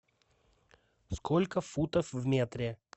сколько футов в метре